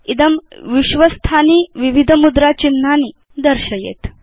इदं विश्वस्थानि विविध मुद्रा चिह्नानि दर्शयिष्यति